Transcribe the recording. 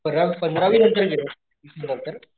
पंध पंधरावी नंतर दिलसतर